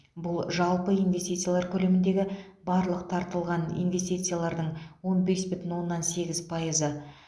бұл жалпы инвестициялар көлеміндегі барлық тартылған инвестициялардың он бес бүтін оннан сегіз пайызы